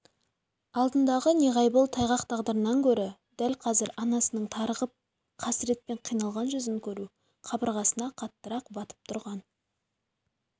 алдындағы неғайбыл тайғақ тағдырынан гөрі дәл қазір анасының тарығып қасыретпен қиналған жүзін көру қабырғасына қаттырақ батып тұрған